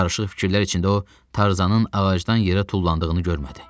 Qarışıq fikirlər içində o, Tarzanın ağacdan yerə tullandığını görmədi.